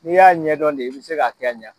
N'i y'a ɲɛdɔn de i bɛ se k'a kɛ ɲɛ.